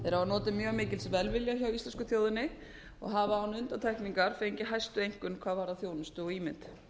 þeir hafa notið mjög mikils velvilja hjá íslensku þjóðinni og hafa án undantekningar fengið hæstu einkunn hvað varðar þjónustu og ímynd